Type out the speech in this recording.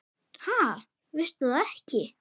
Ha, veistu það ekki?